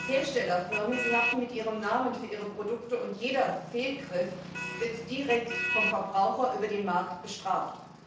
Herstellerfirmen haften mit ihrem Namen für ihre Produkte, und jeder Fehlgriff wird direkt vom Verbraucher über den Markt bestraft.